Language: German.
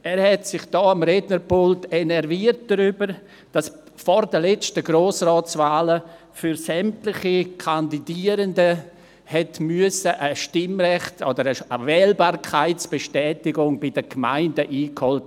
Er hat sich am Rednerpult darüber enerviert, dass vor den letzten Grossratswahlen für sämtliche Kandidierenden bei den Gemeinden eine Wählbarkeitsbestätigung eingeholt werden musste.